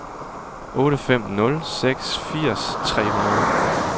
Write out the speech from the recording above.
otte fem nul seks firs tre hundrede